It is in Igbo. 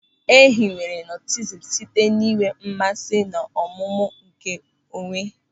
E hiwere Nọstisizm site n'inwe mmasị n'ọmụmụ nke onwe.